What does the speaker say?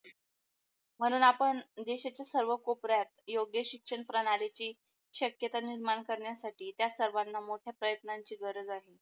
म्हणून आपण देशाच्या सर्व कोपऱ्यात योग्य शिक्षण प्रणालीची शक्यता निर्माण करण्यासाठी त्या सर्वणा मोठ्या प्रयत्नाची गरज आहे.